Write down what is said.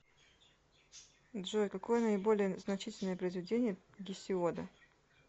джой какое наиболее значительное произведение гесиода